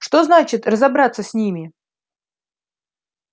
что значит разобраться с ними